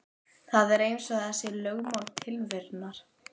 Það er eins og það sé lögmál tilverunnar.